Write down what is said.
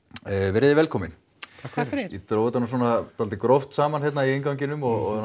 veriði velkomin takk fyrir ég dró þetta nú svolítið gróft saman hér í innganginum og